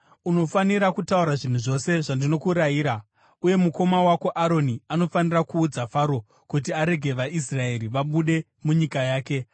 Unofanira kutaura zvinhu zvose zvandinokurayira, uye mukoma wako Aroni anofanira kuudza Faro kuti arege vaIsraeri vabude munyika yake.